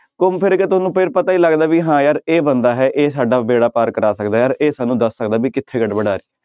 ਘੁੰਮ ਫਿਰ ਕੇ ਤੁਹਾਨੂੰ ਫਿਰ ਪਤਾ ਹੀ ਲੱਗਦਾ ਵੀ ਹਾਂ ਯਾਰ ਇਹ ਬੰਦਾ ਹੈ ਇਹ ਸਾਡਾ ਬੇੜਾ ਪਾਰ ਕਰਾ ਸਕਦਾ ਯਾਰ, ਇਹ ਸਾਨੂੰ ਦੱਸ ਸਕਦਾ ਵੀ ਕਿੱਥੇ ਗੜਬੜ ਹੈ।